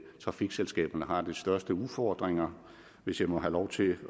trafikselskaberne har de største udfordringer hvis jeg må have lov til